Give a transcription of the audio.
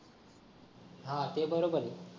हा ते बरोबरयं